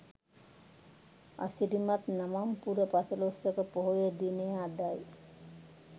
අසිරිමත් නවම් පුර පසළොස්වක පොහොය දිනය අදයි.